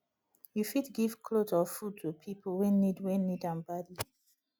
you fit give cloth or food to pipo wey need wey need am badly